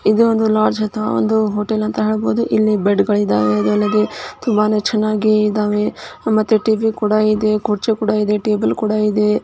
ಇದು ಒಂದು ಲಾಡ್ಜ್ ಅಥವಾ ಹೋಟೆಲ್ ಅಂತ ಹೇಳ್ಬಹುದು. ಇಲ್ಲಿ ಬೆಡ್ ಗಳಿದ್ದಾವೆ ಅದು ಅಲ್ಲದೆ ತುಂಬಾ ಚೆನ್ನಾಗಿ ಇದಾವೆ. ಟಿವಿ ಕೂಡ ಇದೆ ಕೂರ್ಚೆ ಕೂಡ ಇದೆ ಟೇಬಲ್ ಕೂಡ ಇದೆ .